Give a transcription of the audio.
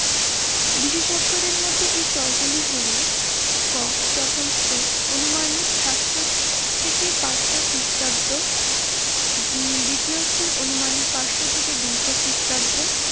বিশেষজ্ঞদের মতে এর স্তর গুলি হল ক প্রথম স্তুর অনুমানিক সাতশো থেকে পাঁচশো খ্রীস্টাব্দ, উম দ্বিতীয় স্তর অনুমানিক পাঁচশো থেকে দুইশো খ্রীস্টাব্দ,